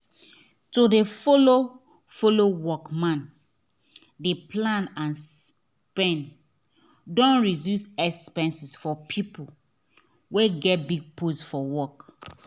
to dey follow fellow workman dey plan and spend don reduce exepenses for people wey get big post for work